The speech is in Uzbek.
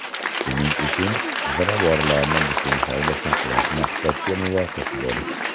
Shuning uchun ziravorlarni butun holda saqlash maqsadga muvofiqdir.